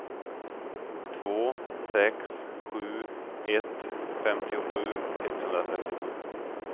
två sex sju ett femtiosju etthundratrettiosju